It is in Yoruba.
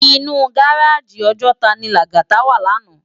Inú gáráji Òjòtá ni Lagata wá làná